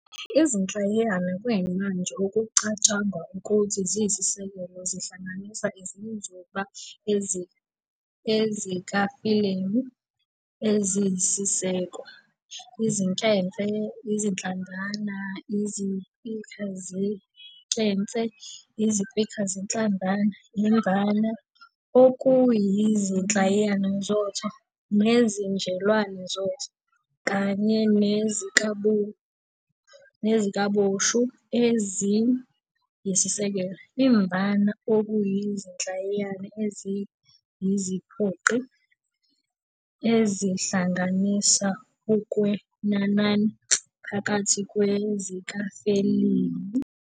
Izinhlayiyana kuyimanje okucatshangwa ukuthi ziyisisekelo zihlanganisa izinzuba, ezikafelimi eziyisiseko, izinkemfe, izinhlamvana, iziphikazinkemfe, iziphikazinhlamvana, imvama okuyizinhlayiyana zotho nezinjelwane zotho, kanye nezikaboshu eziyisisekelo, imvama okuyizinhlayiyana eziyiziphoqi ezihlanganisa okwenanana phakathi kwezikafelimi.